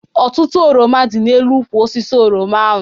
Ọtụtụ oroma dị n'elu ukwụ osisi oroma ahụ.